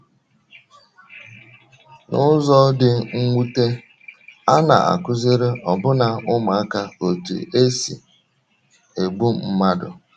N’ụzọ dị mwute, a na - akụziri ọbụna ụmụaka otú e si egbu mmadụ.